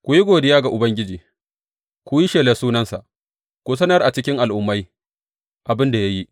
Ku yi godiya ga Ubangiji, ku yi shelar sunansa; ku sanar a cikin al’ummai abin da ya yi.